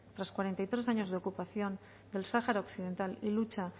tras cuarenta y tres años de ocupación del sahara occidental y lucha